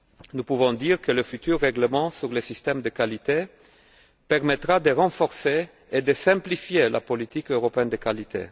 Nous pouvons dire que le futur règlement sur les systèmes de qualité permettra de renforcer et de simplifier la politique européenne de qualité.